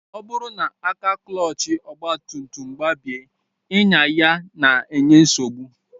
Ọ bụrụ na aka klọọchị ọgbatumtum gbabie, ịnya ya na-enye nsogbu